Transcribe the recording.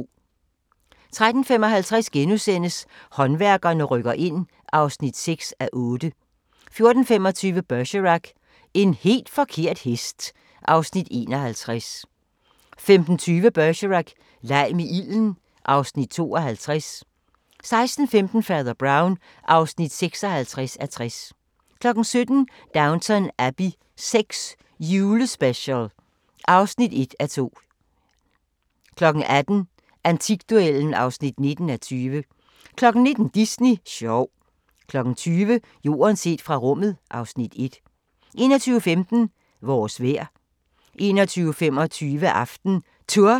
13:55: Håndværkerne rykker ind (6:8)* 14:25: Bergerac: En helt forkert hest (Afs. 51) 15:20: Bergerac: Leg med ilden (Afs. 52) 16:15: Fader Brown (56:60) 17:00: Downton Abbey VI – julespecial (1:2) 18:00: Antikduellen (19:20) 19:00: Disney sjov 20:00: Jorden set fra rummet (Afs. 1) 21:15: Vores vejr 21:25: AftenTour